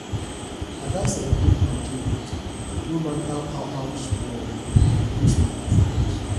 i gats celebrate my achievements no matter how how small to boost my confidence